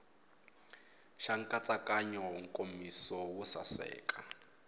xa nkatsakanyo nkomiso wo saseka